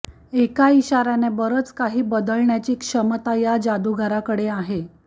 एका इशार्याने बरंच काही बदलण्याची क्षमता या जादुगाराकडे आहे